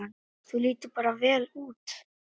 Þú lítur bara vel út!